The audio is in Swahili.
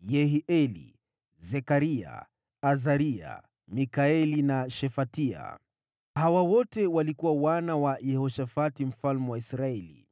Yehieli, Zekaria, Azaria, Mikaeli na Shefatia. Hawa wote walikuwa wana wa Yehoshafati mfalme wa Israeli